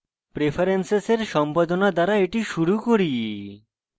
preferences সম্পাদনা দ্বারা এটি শুরু করি